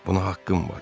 Buna haqqım var.